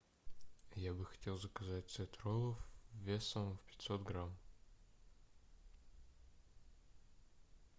я бы хотел заказать сет роллов весом в пятьсот грамм